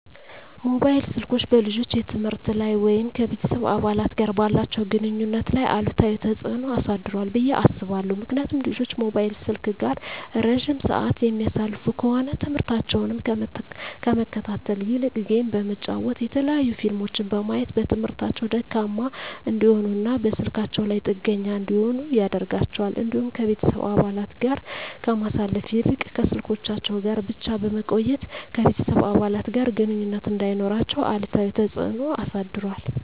መሞባይል ስልኮች በልጆች የትምህርት ላይ ወይም ከቤተሰብ አባላት ጋር ባላቸው ግንኙነት ላይ አሉታዊ ተጽዕኖ አሳድሯል ብየ አስባለሁ። ምክንያቱም ልጆች ሞባይል ስልክ ጋር እረጅም ስዓት የሚያሳልፉ ከሆነ ትምህርሞታቸውን ከመከታተል ይልቅ ጌም በመጫወት የተለያዩ ፊልሞችን በማየት በትምህርታቸው ደካማ እንዲሆኑና በስልካቸው ላይ ጥገኛ እንዲሆኑ ያደርጋቸዋል። እንዲሁም ከቤተሰብ አባለት ጋር ከማሳለፍ ይልቅ ከስልኮቻቸው ጋር ብቻ በመቆየት ከቤተሰብ አባለት ጋር ግንኙነት እንዳይኖራቸው አሉታዊ ተፅዕኖ አሳድሯል።